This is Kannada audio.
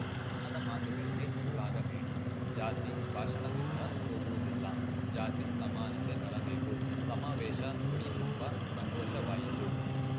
ಬಣ್ಣದ ಮಾತುಗಳಿಗೆ ಮರುಳಾಗಬೇಡಿ ಜಾತಿ ಭಾಷಣದಿಂದ ಹೋಗುವುದಿಲ್ಲ ಜಾತಿ ಸಮಾನತೆ ಬರಬೇಕು ಸಮಾವೇಶ ನೋಡಿ ತುಂಬಾ ಸಂತೋಷವಾಯಿತು